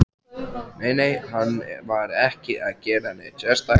Nei, nei, hann var ekki að gera neitt sérstakt.